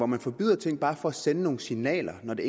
man forbyder ting bare for at sende nogle signaler når det